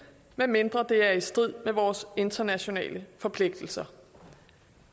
medmindre det er i strid med vores internationale forpligtelser